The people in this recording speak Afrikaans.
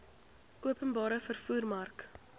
openbare vervoer mark